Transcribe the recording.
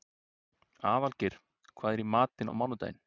Aðalgeir, hvað er í matinn á mánudaginn?